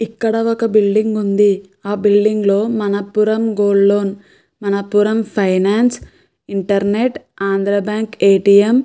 ఇక్కడ ఒక బిల్డింగ్ ఉంది. ఆ బిల్డింగ్ లో Manappuram gold loan Manappuram finance internet Andhra bank ATM --